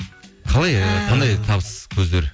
қандай табыс көздер